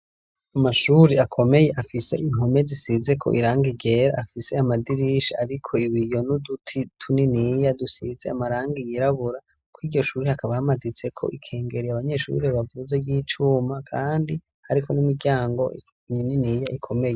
Amashuri akomeye afise impome zisizeko irangi ryera afise amadirisha ariko ibiyo n'uduti tuniniya dusize amarangi yirabura, kuriryo shure hakaba hamaditseko ikengeri abanyeshure bavuze ry'icuma kandi hariko n'imiryango mininiya ikomeye.